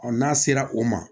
n'a sera o ma